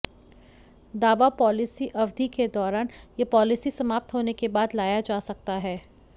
दावा पॉलिसी अवधि के दौरान या पॉलिसी समाप्त होने के बाद लाया जा सकता है